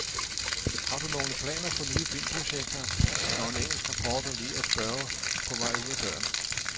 Har du nogle planer for nye filmprojekter, når en engelsk reporter lige at spørge på vej ud af døren.